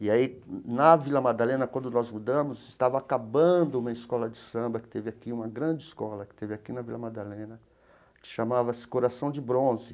E aí, na Vila Madalena, quando nós mudamos, estava acabando uma escola de samba que teve aqui, uma grande escola, que teve aqui na Vila Madalena, que chamava-se Coração de Bronze.